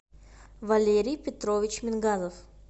валерий петрович мингазов